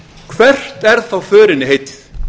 hvert er þá förinni heitið